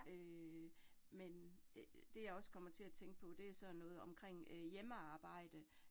Øh men øh det jeg også kommer til at tænke på, det sådan noget omkring øh hjemmearbejde